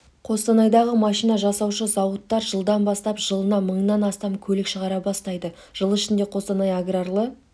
қостанайдағы машина жасаушы зауыттар жылдан бастап жылына мыңнан астам көлік шығара бастайды жыл ішінде қостанай аграрлы